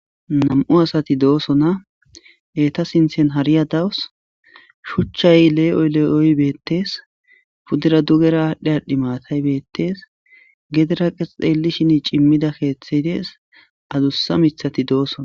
Nam'u asati dosona eta sinthan hariya dawusu shuchay Le'oy Le'oy betese pudera dugera adhi adhi maatay betese gedera ta xelishin comida kethey des adusa mithati dosona